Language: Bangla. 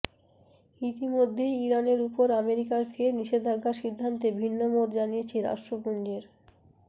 ইতিমধ্যেই ইরানের উপরে আমেরিকার ফের নিষেধাজ্ঞার সিদ্ধান্তে ভিন্নমত জানিয়েছে রাষ্ট্রপুঞ্জের